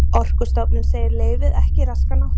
Orkustofnun segir leyfið ekki raska náttúruvernd